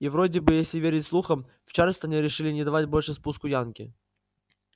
и вроде бы если верить слухам в чарльстоне решили не давать больше спуску янки